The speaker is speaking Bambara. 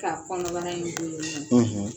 Ka kɔnɔbara in